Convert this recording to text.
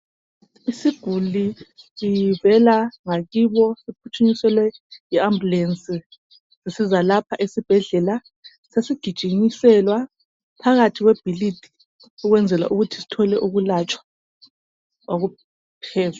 Isiguli sivela ngakibo siphuthunyiselwe yi ambulance sisiza lapha esibhedlela sesigijinyiselwa phakathi kwebhokisi ukwenzela ukuthi sithole ukwelatshwa okuphezulu